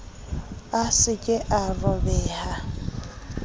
a sa ka a robeha